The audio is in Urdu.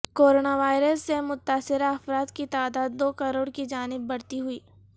کورونا وائرس سے متاثرہ افراد کی تعداد دو کروڑ کی جانب بڑھتی ہوئی